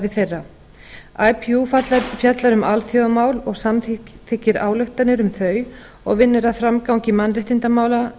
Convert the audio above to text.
hlúa að samstarfi þeirra ipu fjallar um alþjóðamál og samþykkir ályktanir um þau og vinnur að framgangi mannréttindamála